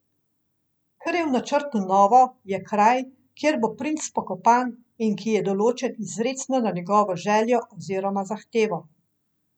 Kar je v načrtu novo, je kraj, kjer bo princ pokopan in ki je določen izrecno na njegovo željo oziroma zahtevo.